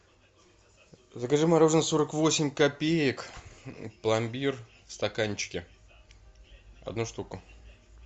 закажи мороженое сорок восемь копеек пломбир в стаканчике одну штуку